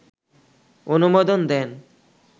অনুমোদন দেন